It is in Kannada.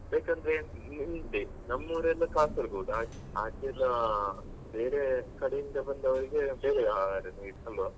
ಬೇಕಂದ್ರೆ ನೀವೇ ನೋಡಿ ನಮ್ಮೂರೆಲ್ಲ Kasaragod ಹಾಗೆ ಆಚೆಲ್ಲ ಬೇರೆ ಕಡೆಯಿಂದ ಬಂದವ್ರಿಗೆ ಬೇರೆ ಆಹಾರನೇ ಅಲ್ವ.